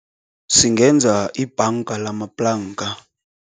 Singenza ibhanga ngalamaplanka.